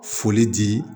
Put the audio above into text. Foli di